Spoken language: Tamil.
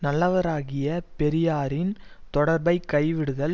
நல்லவராகிய பெரியாரின் தொடர்பைக் கைவிடுதல்